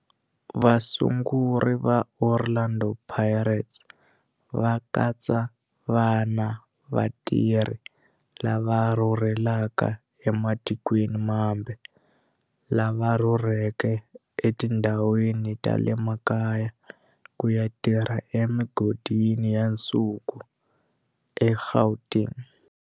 Vasunguri va Orlando Pirates va katsa vana va vatirhi lava rhurhelaka ematikweni mambe lava rhurheleke etindhawini ta le makaya ku ya tirha emigodini ya nsuku eGauteng.